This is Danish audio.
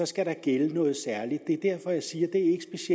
skal der gælde noget særligt det er derfor jeg siger